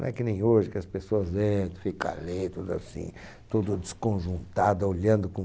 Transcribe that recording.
Não é que nem hoje, que as pessoas entram, ficam ali, tudo assim, tudo desconjuntado, olhando com